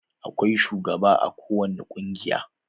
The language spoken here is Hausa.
Akwai shugaba a kowani ƙungiya.